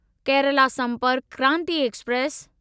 Kerala Sampark Kranti express